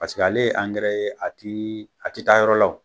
ale ye ye a ti a ti taa yɔrɔ la